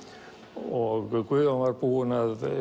og Guðjón var búinn að